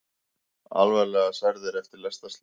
Alvarlega særðir eftir lestarslys